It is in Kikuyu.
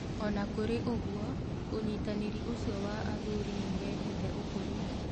Ona kũrĩ ũguo ũnyitanĩrĩ ũcio wa athuri nĩũrehete ũkũri.